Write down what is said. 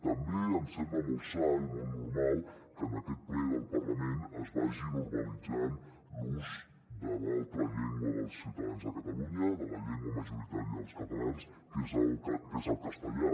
també em sembla molt sa i molt normal que en aquest ple del parlament es vagi normalitzant l’ús de l’altra llengua dels ciutadans de catalunya de la llengua ma·joritària dels catalans que és el castellà